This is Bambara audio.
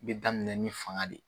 Bɛ daminɛ ni fanga de